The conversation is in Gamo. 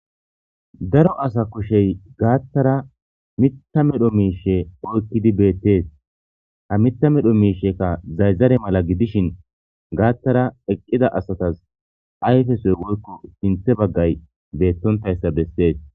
daro asa kushey gaattara mitta medho miishe oykkidi beettees ha mitta medho miishekka zayzare mala gidishin gaattara eqqida asatas ayfesoy woykko sinthe baggay beettontayssa bessees